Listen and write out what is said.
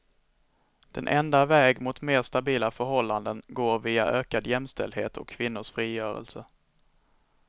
Den enda väg mot mer stabila förhållanden går via ökad jämställdhet och kvinnors frigörelse.